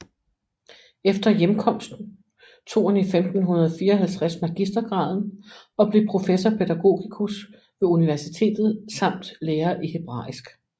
Efter hjemkomsten tog han 1554 magistergraden og blev professor pædagogicus ved universitetet samt lærer i hebraisk